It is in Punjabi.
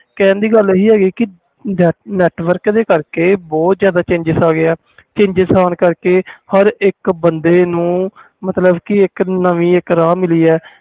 ਕਹਿਣ ਦੀ ਗੱਲ ਇਹੀ ਹੈਕਿ network ਕਰਕੇ ਬਹੁਤ ਜਿਆਦਾ changes ਹੋ ਗਏ network ਆਨ ਕਰਕੇ ਹਰ ਇਕ ਬੰਦੇ ਨੂੰ ਇਕ ਨਵੀਂ ਰਾਹ ਮਿਲੀ ਆ